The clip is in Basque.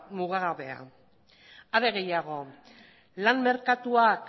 mugagabea are gehiago lan merkatuak